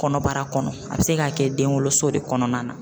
Kɔnɔbara kɔnɔ a bɛ se k'a kɛ den wolo so de kɔnɔna na.